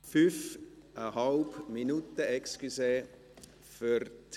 Fünfeinhalb Minuten, entschuldigen Sie.